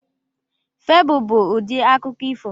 Febụl bụ ụdị akụkọ ifo.